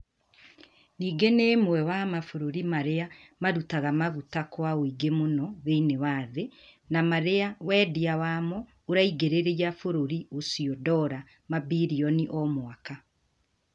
Ningĩ nĩ ũmwe wa mabũrũri marĩa marutaga maguta kwa ũingĩ mũno thĩinĩ wa thĩ, na marĩa wendia wamo uraingĩrĩria bũrũri ucio dora mabirioni o mwaka.